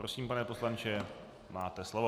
Prosím, pane poslanče, máte slovo.